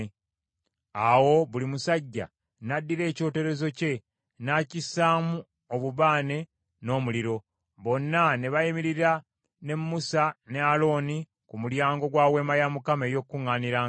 Awo buli musajja n’addira ekyoterezo kye n’akissaamu obubaane n’omuliro, bonna ne bayimirira ne Musa ne Alooni ku mulyango gwa Weema ey’Okukuŋŋaanirangamu.